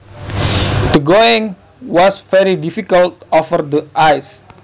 The going was very difficult over the ice